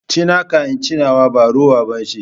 Ci naka in ci nawa, ba rowa ba ce.